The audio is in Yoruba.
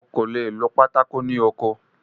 O kò le è lo pátákó ní oko.